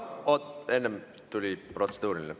Oot, enne tuli protseduuriline.